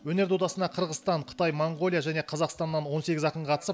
өнер додасына қырғызстан қытай моңғолия және қазақстаннан он сегіз ақын қатысып